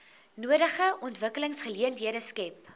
nodige ontwikkelingsgeleenthede skep